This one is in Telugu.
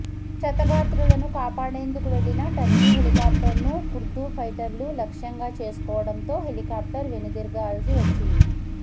క్షతగాత్రులను కాపాడేందుకు వెళ్లిన టర్కీ హెలికాప్టర్నూ కుర్దు ఫైటర్లు లక్ష్యంగా చేసుకోవడంతో హెలికాప్టర్ వెనుదిరగాల్సి వచ్చింది